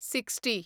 sixty